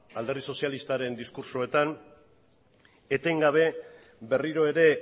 alderdi sozialistaren diskurtsoetan etengabe berriro ere